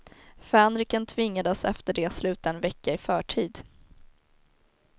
Fänriken tvingades efter det sluta en vecka i förtid.